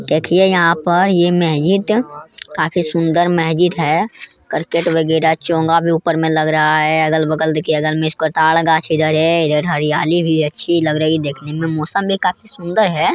देखिए यहाँ पर यह मस्जिद काफी सुंदर मस्जिद है कार्केट वगैरा चोंगा भी ऊपर में लग रहा है अगल-बगल देखिए इसको तार गाछ इधर है हरियाली अच्छी लग रही है देखने में मौसम भी काफी सुंदर है।